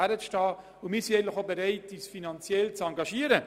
Wir sind auch bereit, uns finanziell zu engagieren.